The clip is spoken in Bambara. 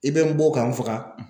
I bɛ n bon ka n faga.